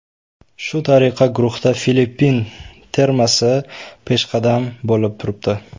Shu tariqa guruhda Filippin termasi peshqadam bo‘lib turibdi.